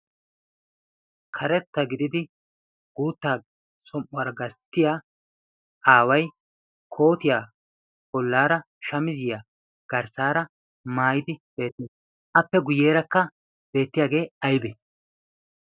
karetta gididi guutta som77uwar ggasttiya aawai kootiyaa bollaara shamiziyaa garssaara maayidi beetti appe guyyeerakka beettiyaagee aibee